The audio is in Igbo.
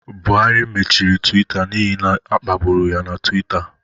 Buhari machiri Twita n'ihi na a kpagburu ya na Twitter